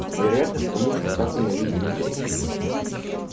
вероятно потому что так ненавидит людей